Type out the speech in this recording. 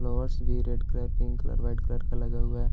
flowers भी red colour pink colour white colour का लगा हुआ है |